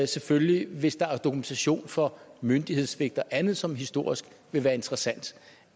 selvfølgelig hvis der er dokumentation for myndighedssvigt og andet som historisk vil være interessant